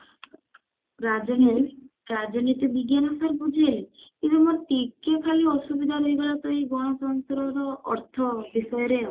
ରାଜ୍ୟରେ ରାଜନୀତି ବିଜ୍ଞାନ sir ବୁଝେଇଲେ ଏ ଯୋଉ ଟିକେ ମୋର ଖାଲି ଅସୁବିଧା ତ ଏଇ ଗଣତନ୍ତ୍ର ଯୋଉ ଅର୍ଥ ବିଷୟରେ ଆଉ